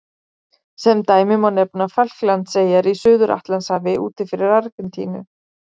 Sem dæmi má nefna Falklandseyjar í Suður-Atlantshafi úti fyrir Argentínu.